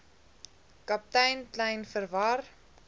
kaptein kleyn verwar